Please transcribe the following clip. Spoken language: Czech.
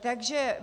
Takže